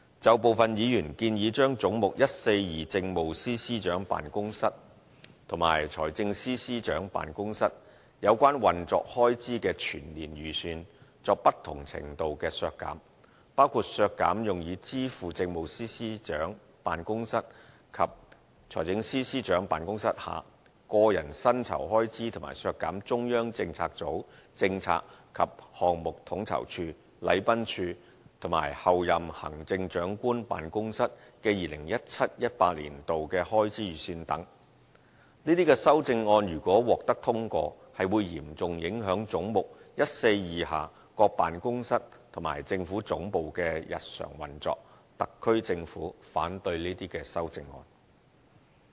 就部分議員建議將"總目 142― 政府總部：政務司司長辦公室和財政司司長辦公室"有關運作開支的全年預算作不同程度的削減，包括削減用以支付政務司司長辦公室及財政司司長辦公室下個人薪酬開支，和削減中央政策組政策及項目統籌處、禮賓處和候任行政長官辦公室的 2017-2018 年度的開支預算等，這些修正案如果獲得通過，是會嚴重影響總目142下各辦公室和政府總部的日常運作，特區政府反對這些修正案。